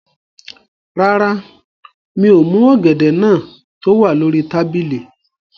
Rárá, mi ò mú ọ̀gẹ̀dẹ̀ náà tó wà lórí tábìlì